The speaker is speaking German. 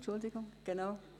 Entschuldigen Sie.